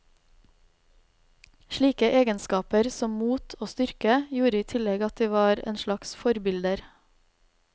Slike egenskaper, som mot og styrke, gjorde i tillegg at de var en slags forbilder.